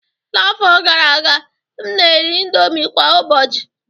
N'afọ gara aga, m na-eri indomie kwa ụbọchị